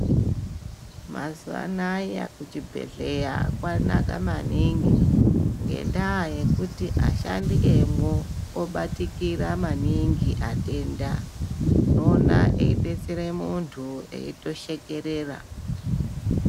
Mazuva anaya kuchibhedhlera kwanaka maningi ngendaa yekuti ashandi emwo obatikira maningi antu ane matenda, unoona eidetsera muntu eitoshekerera.